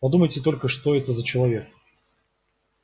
подумайте только что это за человек